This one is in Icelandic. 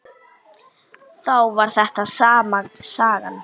Þá var þetta sama sagan.